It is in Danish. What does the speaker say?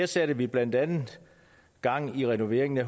satte blandt andet gang i renoveringen af